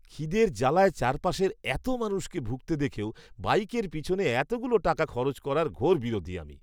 খিদের জালায় চারপাশের এতো মানুষকে ভুগতে দেখেও বাইকের পিছনে এতগুলো টাকা খরচ করার ঘোর বিরোধী আমি!